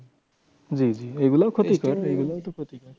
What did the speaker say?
জি জি এগুলোও ক্ষতিকর। এগুলোও তো ক্ষতি করে।